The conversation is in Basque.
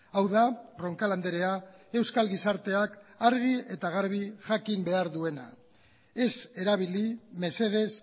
hau da roncal andrea euskal gizarteak argi eta garbi jakin behar duena ez erabili mesedez